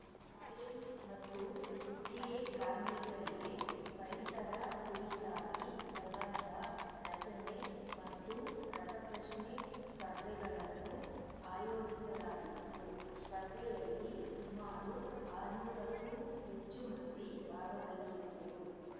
ಕಾಯಂ ಮತ್ತು ಗುತ್ತಿಗೆ ಕಾರ್ಮಿಕರಿಗೆ ಪರಿಸರ ಕುರಿತಾಗಿ ಪ್ರಬಂಧ ರಚನೆ ಮತ್ತು ರಸಪ್ರಶ್ನೆ ಸ್ಪರ್ಧೆಗಳನ್ನು ಆಯೋಜಿಸಲಾಗಿತ್ತು ಸ್ಪರ್ಧೆಯಲ್ಲಿ ಸುಮಾರು ಆರುನೂರಕ್ಕೂ ಹೆಚ್ಚು ಮಂದಿ ಭಾಗವಹಿಸಿದ್ದರು